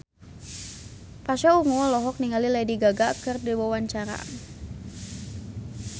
Pasha Ungu olohok ningali Lady Gaga keur diwawancara